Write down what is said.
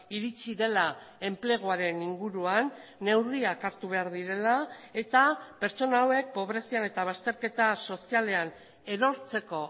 iritsi dela enpleguaren inguruan neurriak hartu behar direla eta pertsona hauek pobrezian eta bazterketa sozialean erortzeko